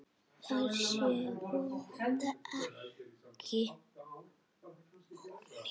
Þær séu vonandi ekki ónýtar.